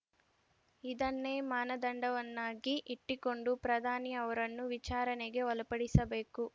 ಇದನ್ನೇ ಮಾನದಂಡವನ್ನಾಗಿ ಇಟ್ಟಿಕೊಂಡು ಪ್ರಧಾನಿ ಅವರನ್ನು ವಿಚಾರಣೆಗೆ ಒಳಪಡಿಸಬೇಕು